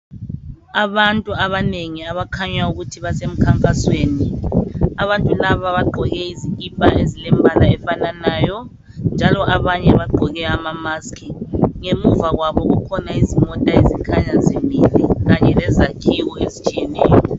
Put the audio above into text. Abantu abanengi abakhanya ukuthi basemkhankasweni. Abantu laba bagqoke izikhipha ezilembala efananayo ,njalo abanye bagqoke amamask. Ngemuva kwabo kukhona izimota ezikhanya zimile kanye lezakhiwo ezitshiyeneyo.